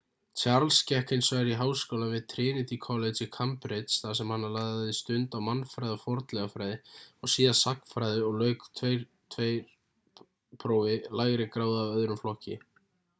charles gekk hins vegar í háskólann við trinity college í cambridge þar sem hann lagði stund á mannfræði og fornleifafræði og síðar sagnfræði og lauk 2:2 prófi lægri gráðu af öðrum flokki